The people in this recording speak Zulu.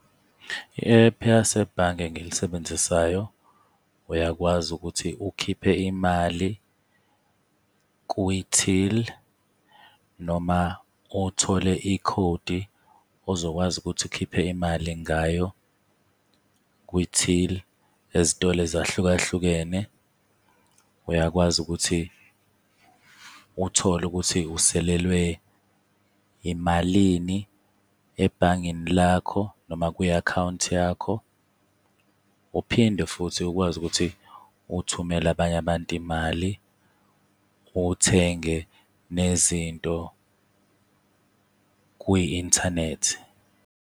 I-app yasebhange engilisebenzisayo, uyakwazi ukuthi ukhiphe imali kwi-till, noma uthole ikhodi ozokwazi ukuthi ukhiphe imali ngayo kwi-till ezitolo ezahlukahlukene. Uyakwazi ukuthi uthole ukuthi uselelwe imalini ebhangeni lakho noma kwi-akhawunti yakho, uphinde futhi ukwazi ukuthi uthumele abanye abantu imali, uthenge nezinto kwi-inthanethi.